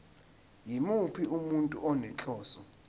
yimuphi umuntu onenhloso